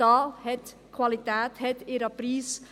Qualität hat ihren Preis.